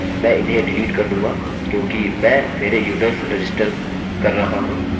मैं इन्हें डिलीट कर दूँगा क्योंकि मैं मेरे यूज़र्स रजिस्टर कर रहा हूँ अतः मैं एक साफ़ डेटाबेस से शुरू कर सकता हूँ